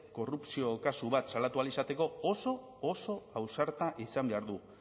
korrupzio kasu bat salatu ahal izateko oso oso ausarta izan behar du